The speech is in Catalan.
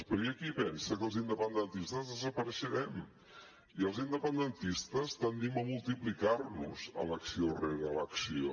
però hi ha qui pensa que els independentistes desapareixerem i els independentistes tendim a multiplicar nos elecció rere elecció